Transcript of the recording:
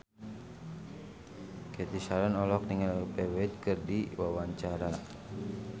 Cathy Sharon olohok ningali Olivia Wilde keur diwawancara